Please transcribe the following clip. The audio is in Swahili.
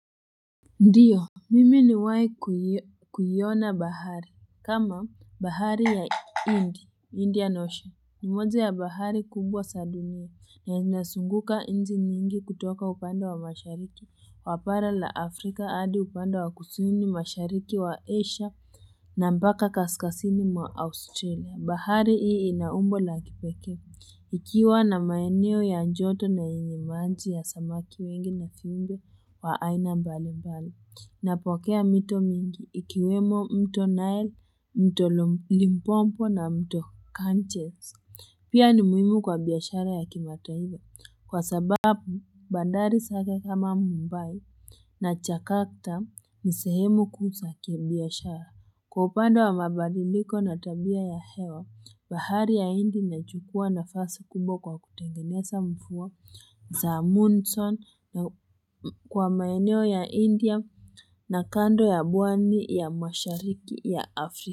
Ndiyo mimi nimewaikuiona bahari kama bahari ya indi indian ocean ni moja ya bahari kumbwa saliniwe ya inasunguka nchi mingi kutoka upando wa mashariki wa bara la afrika hadi upando wa kusini mashariki wa asia na mbaka kaskasini mwa australia bahari ii inaumbo la kipekee Ikiwa na maeneo ya joto na yenye maji ya samaki wengi na finge waaina mbali mbali, napokea mito mingi ikiwemo mto nile, mto Limpompo na mto Kanchese. Pia ni muhimu kwa biashara ya kimataifa, kwa sababu bandari saka kama Mumbai na Chakarta nisehemu kuu za biashara. Kwa upande wa mabadiliko na tabia ya hewa, bahari ya indi na chukua na nafasi kubwa kwa kutengeneza mvua za Moonson kwa maeneo ya india na kando ya pwani ya mashariki ya Afrika.